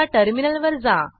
आता टर्मिनलवर जा